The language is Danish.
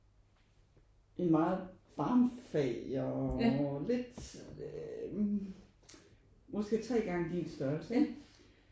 En meget barmfager og lidt hm måske tre gange din størrelse ikke